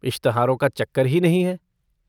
इश्तहारों का चक्कर ही नहीं है।